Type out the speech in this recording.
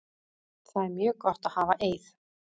Það er mjög gott að hafa Eið.